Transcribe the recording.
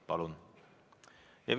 Palun!